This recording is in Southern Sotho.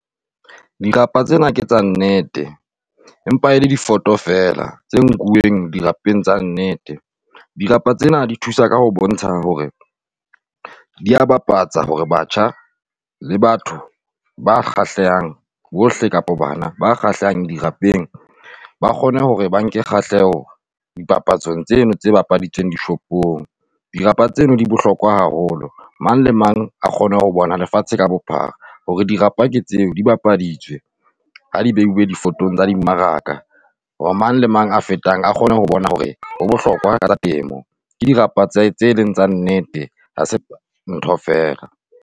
Dirapa tsena tsa nnete, empa e le difoto fela tse nkuweng dirapeng tsa nnete. Dirapa tsena di thusa ka ho bontsha hore dia bapatsa hore batjha le batho ba kgahlehang bohle kapa bana ba kgahlehang dirapeng ba kgone hore ba nke kgahleho dipapatsong tseno tse bapaditsweng tsa dishopong, dirapa tseo di bohlokwa haholo. Mang le mang a kgone ho bona lefatshe ka bophara hore dirapa ke tseo di bapaditswe ha di beuwe difotong tsa dimmaraka. Hore mang le mang a fetang a kgone ho bona hore ho bohlokwa ka temo, ke dirapa tsa tseo e leng tsa nnete, ha se ntho fela.